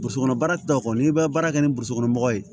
Burusi kɔnɔ baara ta kɔni i bɛ baara kɛ ni mɔgɔw ye